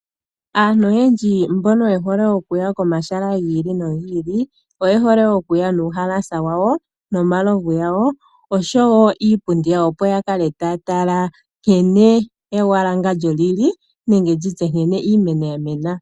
Aantu oyendji mboka hayi komahala gilinogili ,oye hole okuya nuuhalasa nomalovu gawo niipundi opo yavule okutala nkene ewangandjo yili nenge iimeno yamena.